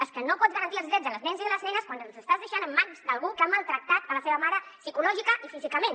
és que no pots garantir els drets dels nens i de les nenes quan els estàs deixant en mans d’algú que ha maltractat la seva mare psicològicament i físicament